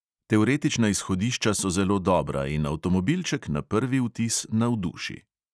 Teoretična izhodišča so zelo dobra in avtomobilček na prvi vtis navduši.